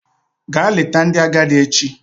Gaa leta ndị agadi echi!